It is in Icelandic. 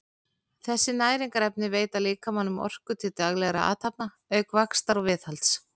þessi næringarefni veita líkamanum orku til daglegra athafna auk vaxtar og viðhalds